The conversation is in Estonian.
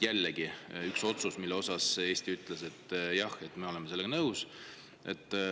Jälle üks otsus, mille korral Eesti ütles: jah, me oleme sellega nõus.